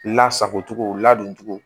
Lasago cogo ladon cogo